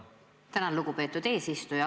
Tänan, lugupeetud eesistuja!